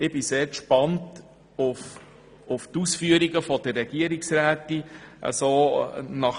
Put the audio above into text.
Ich bin sehr gespannt auf die Ausführungen der Regierungsrätin.